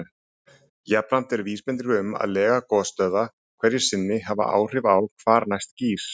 Jafnframt eru vísbendingar um að lega gosstöðva hverju sinni hafi áhrif á hvar næst gýs.